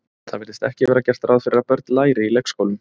Það virðist ekki vera gert ráð fyrir að börn læri í leikskólum.